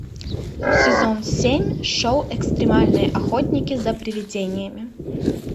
сезон семь шоу экстремальные охотники за привидениями